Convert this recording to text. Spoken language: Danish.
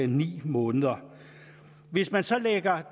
ni måneder hvis der så